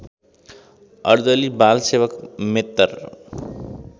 अर्दली बालसेवक मेत्तर